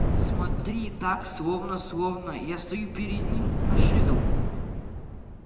смотри так словно словно я стою перед ним нагишом